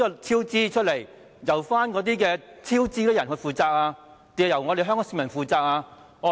超支款項由導致超支者負責，還是由香港市民負責呢？